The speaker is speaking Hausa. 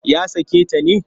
Ya sake ta ne?